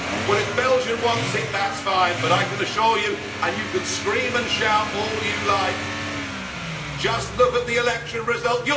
Well, if Belgium wants it, that is fine, but I can assure you, and you can scream and shout all you like, just look at the election result.